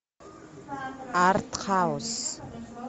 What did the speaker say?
артхаус